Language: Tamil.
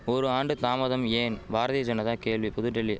ஒரு ஆண்டு தாமதம் ஏன் பாரதிய ஜனதா கேள்வி புதுடெல்லி